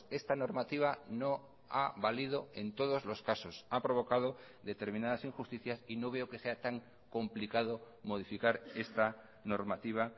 esta normativa no ha valido en todos los casos ha provocado determinadas injusticias y no veo que sea tan complicado modificar esta normativa